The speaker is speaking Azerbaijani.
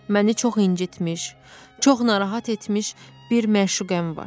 Məni çox incitmiş, çox narahat etmiş bir məşuqəm var.